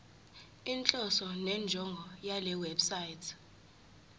inhloso nenjongo yalewebsite